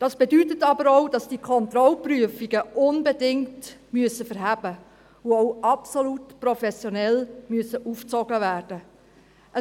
Dies bedeutet aber auch, dass die Kontrollprüfungen unbedingt schlüssig sein und absolut professionell aufgezogen werden müssen.